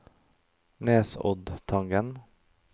Nesoddtangen